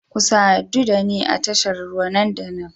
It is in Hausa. Ku sadu da ni a tashar ruwa nan da nan